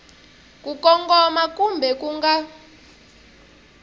ku kongoma kumbe ku nga